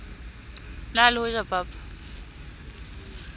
na le ho ja papa